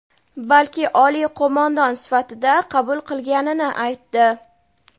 balki oliy qo‘mondon sifatida qabul qilganini aytdi.